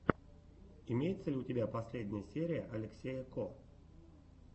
имеется ли у тебя последняя серия алексея ко